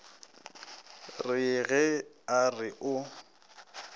re ge a re o